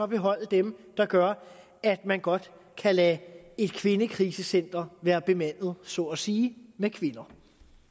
beholde dem der gør at man godt kan lade et kvindekrisecenter være bemandet så at sige med kvinder